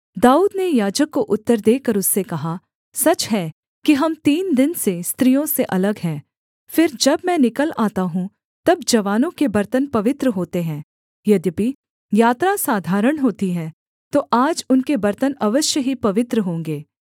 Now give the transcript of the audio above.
दाऊद ने याजक को उत्तर देकर उससे कहा सच है कि हम तीन दिन से स्त्रियों से अलग हैं फिर जब मैं निकल आता हूँ तब जवानों के बर्तन पवित्र होते है यद्यपि यात्रा साधारण होती है तो आज उनके बर्तन अवश्य ही पवित्र होंगे